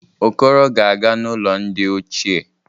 Okoro ga-aga n'ulo ndi ochie.